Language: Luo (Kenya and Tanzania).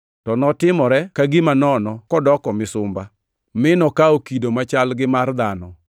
to notimore ka gima nono kodoko misumba, mi nokawo kido machal gi mar dhano.